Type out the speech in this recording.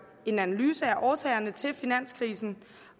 en analyse af årsagerne til finanskrisen